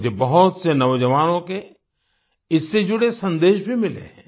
मुझे बहुत से नौजवानों के इससे जुड़े संदेश भी मिले हैं